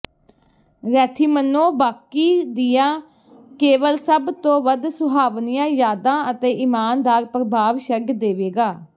Rethymno ਬਾਕੀ ਦੀਆਂ ਕੇਵਲ ਸਭ ਤੋਂ ਵੱਧ ਸੁਹਾਵਣੀਆਂ ਯਾਦਾਂ ਅਤੇ ਇਮਾਨਦਾਰ ਪ੍ਰਭਾਵ ਛੱਡ ਦੇਵੇਗਾ